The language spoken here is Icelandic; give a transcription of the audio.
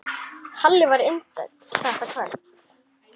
Halli var vinsæll þetta kvöld.